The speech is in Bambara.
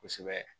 Kosɛbɛ